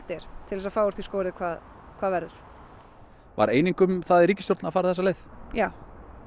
er til þess að fá úr því skorið hvað hvað verður var eining um það í ríkisstjórn að fara þessa leið já